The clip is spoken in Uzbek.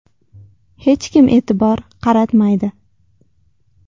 Hech kim e’tibor qaratmaydi.